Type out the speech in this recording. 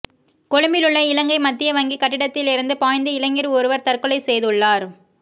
கொழும்பிலுள்ள இலங்கை மத்திய வங்கி கட்டிடத்திலிருந்து பாய்ந்து இளைஞர் ஒருவர் தற்கொலை செய்துள்ளார்